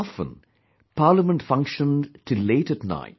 Often, Parliament functioned till late at night